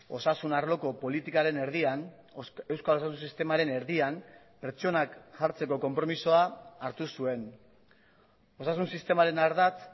osasun arloko politikaren erdian euskal osasun sistemaren erdian pertsonak jartzeko konpromisoa hartu zuen osasun sistemaren ardatz